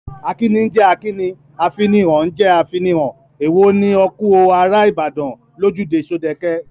Akíni ń jẹ́ akíni, afinihàn ń jẹ́ afinihàn, èwo ni ‘‘O kú o, ará Ìbàdàn’’ lójúde Ṣódẹke?